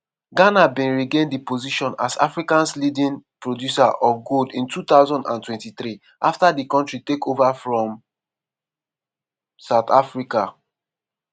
ghana bin regain di position as africa's leading producer of gold in 2023; afta di kontri take ova from south africa.